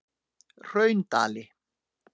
Hraundali